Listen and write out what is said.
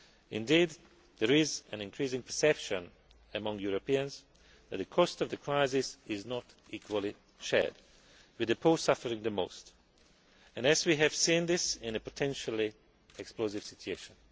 Indeed, there is an increasing perception among Europeans that the cost of the crisis is not equally shared, with the poor suffering the most and, as we have seen, this is a potentially explosive situation.